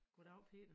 Goddav Peter